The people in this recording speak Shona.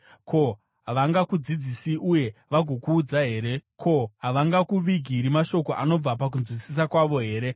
Ko, havangakudzidzisi uye vagokuudza here? Ko, havangakuvigiri mashoko anobva pakunzwisisa kwavo here?